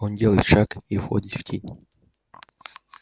он делает шаг и входит в тень